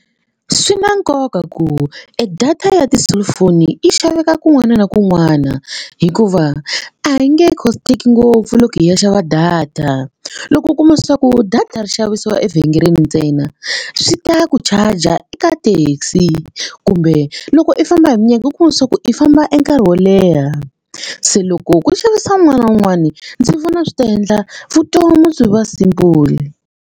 Swi na nkoka ku e data ya ti-cellphone yi xaveka kun'wana na kun'wana hikuva a yi nge cost-eki ngopfu loko hi ya xava data loko u kuma leswaku data ri xaviwa evhengeleni ntsena swi ta ku charger eka taxi kumbe loko i famba hi minenge u kuma swa ku i famba e nkarhi wo leha se loko ku xavisa un'wana na un'wana ndzi vona swi ta endla vutomi byi va simple.